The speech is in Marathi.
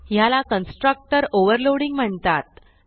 ह्याला कन्स्ट्रक्टर ओव्हरलोडिंग म्हणतात